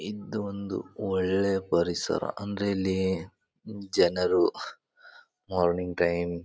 ಇದೊಂದು ಒಳ್ಳೆಯ ಪರಿಸರ ಅಂದ್ರೆ ಇಲ್ಲಿ ಜನರು ಆಹ್ಹ್ ಮಾರ್ನಿಂಗ್ ಟೈಮ್ --